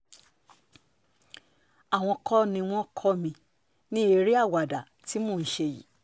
àwọn kọ́ ni wọ́n kọ́ mi ní eré àwàdà tí mò ń ṣe yìí